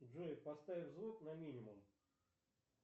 джой поставь звук на минимум